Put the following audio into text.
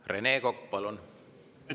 Rene Kokk, palun!